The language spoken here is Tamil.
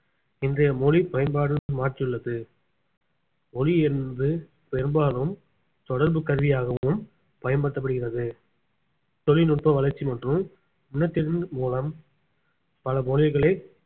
இன்றைய மொழி பயன்பாடு மாற்றியுள்ளது மொழி என்பது பெரும்பாலும் தொடர்பு கருவியாகவும் பயன்படுத்தப்படுகிறது தொழில்நுட்ப வளர்ச்சி மற்றும் இனத்தின் மூலம் பல மொழிகளை